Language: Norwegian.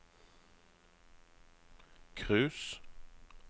cruise